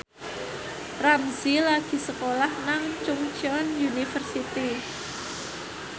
Ramzy lagi sekolah nang Chungceong University